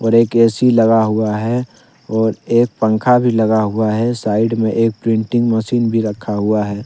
एक ऐ_सी लगा हुआ है और एक पंखा भी लगा हुआ है साइड में एक प्रिंटिंग मशीन भी रखा हुआ है ।